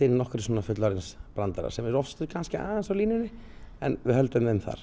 inn nokkrum fullorðisbröndurum sem eru oft stundum aðeins á línunni en við höldum þeim þar